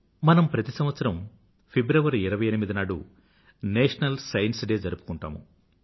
మనం ప్రతి సంవత్సరం ఫిబ్రవరి 28 నాడు నేషనల్ సైన్స్ డే జరుపుకుంటాము